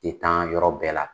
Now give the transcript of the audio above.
tɛ tan yɔrɔ bɛɛ la.